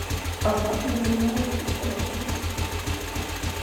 азата емельяновича сироткина